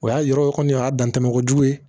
O y'a yɔrɔ o kɔni y'a dan tɛmɛn kojugu ye